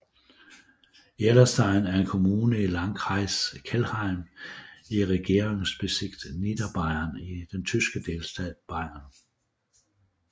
Ihrlerstein er en kommune i Landkreis Kelheim i Regierungsbezirk Niederbayern i den tyske delstat Bayern